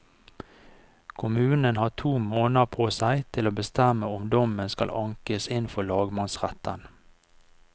Kommunen har to måneder på seg til å bestemme om dommen skal ankes inn for lagmannsretten.